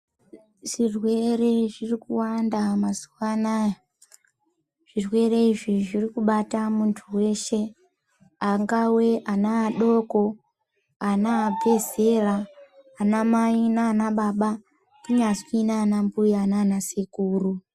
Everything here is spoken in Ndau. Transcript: Zvirwere zviri kuwanda mazuwa anaya zvirwere izvi zviri kubata muntu weshe angawa ana adoko ana abvezera ana Mai nanababa kunzwi nana mbuya nana sekuru .